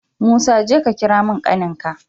Musa jeka ka kira min ƙanin ka